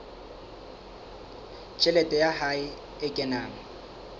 tjhelete ya hae e kenang